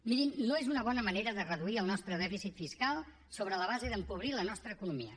mirin no és una bona manera de reduir el nostre dèficit fiscal sobre la base d’empobrir la nostra economia